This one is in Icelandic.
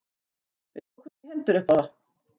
Við tókumst í hendur upp á það.